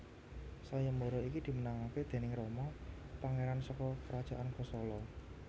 Sayembara iki dimenangkan déning Rama pangeran saka Kerajaan Kosala